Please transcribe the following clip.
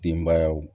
Denbayaw